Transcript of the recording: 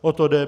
O to jde.